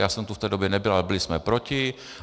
Já jsem tu v té době nebyl, ale byli jsme proti.